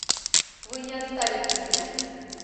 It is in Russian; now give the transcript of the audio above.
вы не оставите меня